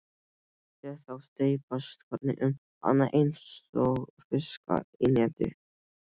Sé þá steypast hvern um annan einsog fiska í neti.